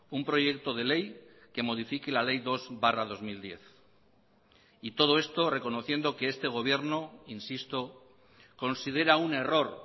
un proyecto de ley que modifique la ley dos barra dos mil diez y todo esto reconociendo que este gobierno insisto considera un error